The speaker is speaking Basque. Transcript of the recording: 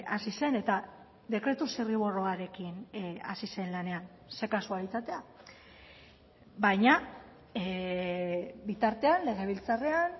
hasi zen eta dekretu zirriborroarekin hasi zen lanean ze kasualitatea baina bitartean legebiltzarrean